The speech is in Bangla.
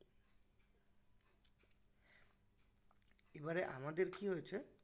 এবারে আমাদের কি হয়েছে